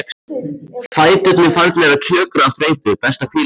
Fæturnir farnir að kjökra af þreytu, best að hvíla sig.